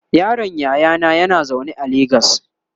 yaron yayana yana zaune a legas